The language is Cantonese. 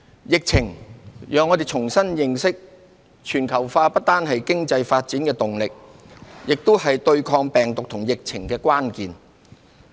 疫情，讓我們重新認識，全球化不單是經濟發展的動力，也是對抗病毒與疫情的關鍵。